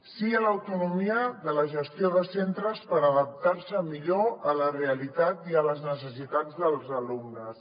sí a l’autonomia de la gestió de centres per adaptar se millor a la realitat i a les necessitats dels alumnes